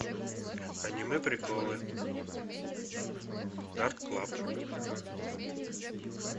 аниме приколы дарк клаб